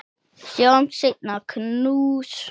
Sjáumst seinna, knús.